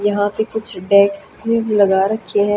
यहां पे कुछ डेक्सेज लगा रखे हैं।